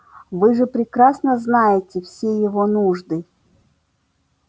вы же прекрасно знаете все его нужды